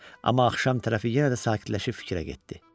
Amma axşam tərəfi yenə də sakitləşib fikrə getdi.